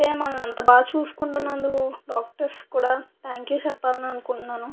ఏమన్న అంత బాగా చూసుకుంటున్నందుకు డాక్టర్స్ కూడా థాంక్యూ చెప్పాలనుకుంటున్నాను.